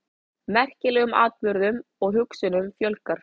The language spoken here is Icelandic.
Merkilegum atburðum og hugsunum fjölgar.